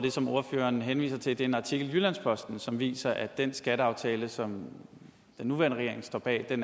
det som ordføreren henviser til er en artikel i jyllands posten som viser at den skatteaftale som den nuværende regering står bag er